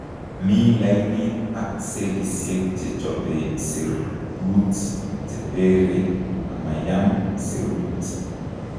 Mii lainit ak cellisiek chechobe serbuuk cheteree amayam seruut